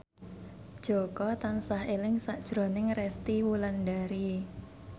Jaka tansah eling sakjroning Resty Wulandari